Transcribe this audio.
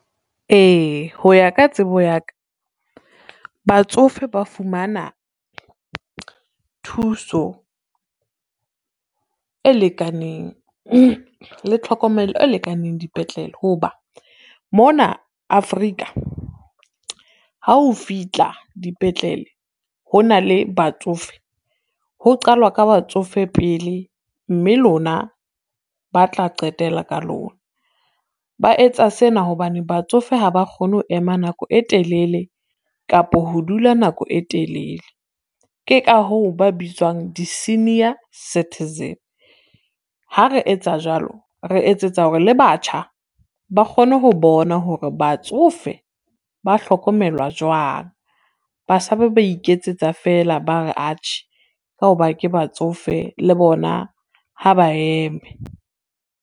Ee ho ya ka tsebo ya ka, batsofe ba fumana thuso e lekaneng le tlhokomelo e lekaneng dipetlele, ho ba mona Afrika ha o fihla dipetlele, ho na le batsofe ho qalwa ka batsofe pele mme lona ba tla qetella ka lona. Ba etsa sena hobane batsofe ha ba kgone ho ema nako e telele kapo ho dula nako e telele. Ke ka hoo ba bitswang di-senior citizen, ha re etsa jwalo re etsetsa hore le batjha ba kgone ho bona hore batsofe ba hlokomelwa jwang. Batjha ba ba iketsetsa feela, ba re atjhe ka ho ba ke batsofe le bona ha ba eme.